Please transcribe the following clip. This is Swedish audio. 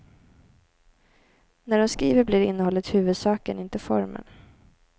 När de skriver blir innehållet huvudsaken, inte formen.